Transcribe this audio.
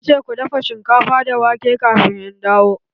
Na ce ku dafa shinkafa da wake kafin in dawo!